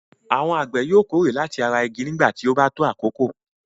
Àwọn àgbẹ̀ yóò kórè láti ara igi nígbà tí ó bá tó àkókò.